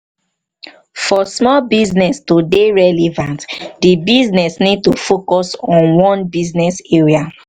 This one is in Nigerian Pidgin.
for small business to dey relevant di business need to focus on one business area